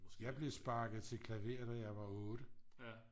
jeg blev sparket til klaver da jeg var 8